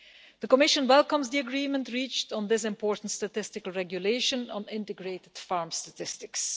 The Commission welcomes the agreement reached on this important regulation on integrated farm statistics.